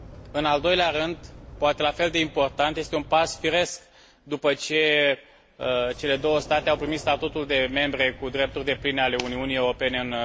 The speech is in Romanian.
În al doilea rând, poate la fel de important, este un pas firesc, după ce cele două state au primit statutul de membre cu drepturi depline ale Uniunii Europene în